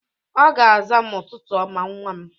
Ọ ga-aza m, "Ụtụtụ ọma nwa m!"